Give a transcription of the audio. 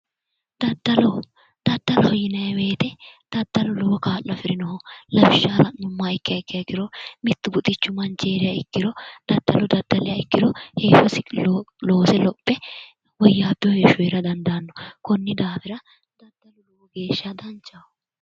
Daddallo, daddaloho yinnanni woyte daddalu lowo kaa'lo afirino lawishshaho la'nuummoha ikkiha ikkiro mitu buxichi manchi heeriha ikkiro daddallo daddaliha ikkiro heeshshosi loose lophe woyyabbino heeshsho heera dandaano koni daafira lowontanni danchaho.